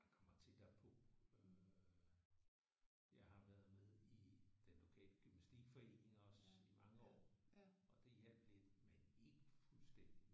Man kommer tættere på øh jeg har været med i den lokale gymnastikforening også i mange år og det hjalp lidt men ikke fuldstændigt